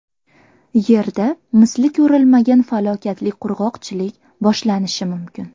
Yerda misli ko‘rilmagan falokatli qurg‘oqchilik boshlanishi mumkin.